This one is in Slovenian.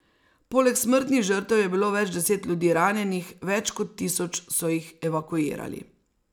Poleg smrtnih žrtev je bilo več deset ljudi ranjenih, več kot tisoč so jih evakuirali.